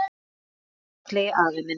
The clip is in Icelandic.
Elsku fallegi afi minn.